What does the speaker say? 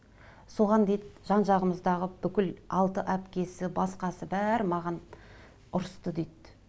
соған дейді жан жағымыздағы бүкіл алты әпкесі басқасы бәрі маған ұрысты дейді